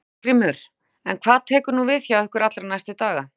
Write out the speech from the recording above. Ásgrímur: En hvað tekur nú við hjá ykkur allra næstu daga?